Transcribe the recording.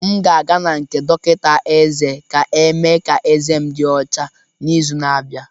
M ga-aga na nke dọkịta eze ka emee ka ezé m dị ọcha n'izu na-abịa.